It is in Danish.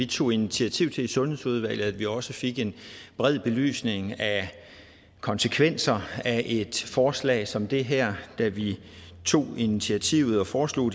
tog initiativ til i sundhedsudvalget at vi også fik en bred belysning af konsekvenserne af et forslag som det her da vi tog initiativet og foreslog